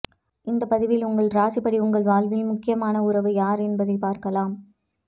இந்த பதிவில் உங்கள் ராசிப்படி உங்கள் வாழ்வில் முக்கியமான உறவு யார் என்பதை பார்க்கலாம்